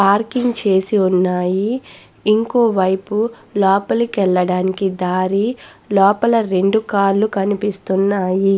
Parking చేసి ఉన్నాయ్ ఇంకోవైపు లోపలికి వెళ్లడానికి దారి లోపల రెండు కార్ లు కనిపిస్తున్నాయి.